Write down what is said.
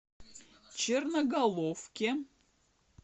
черноголовке